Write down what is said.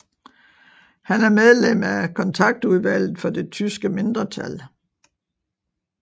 Han er medlem af Kontaktudvalget for det Tyske Mindretal